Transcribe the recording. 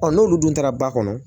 n'olu dun taara ba kɔnɔ